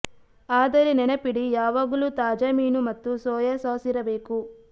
ಆದರೆ ನೆನಪಿಡಿ ಯಾವಾಗಲೂ ತಾಜಾ ಮೀನು ಮತ್ತು ಸೋಯಾ ಸಾಸ್ ಇರಬೇಕು